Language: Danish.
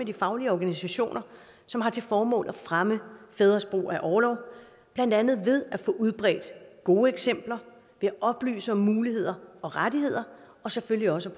de faglige organisationer som har til formål at fremme fædres brug af orlov blandt andet ved at få udbredt gode eksempler ved at oplyse om muligheder og rettigheder og selvfølgelig også